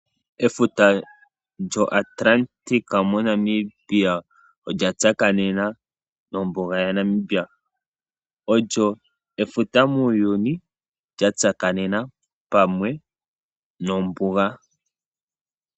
Efuta lyoAtlantic moNamibia olya tsakanema nombuga yaNamibia olyo efuta muuyuni lya tsakanena pamwe nombuga.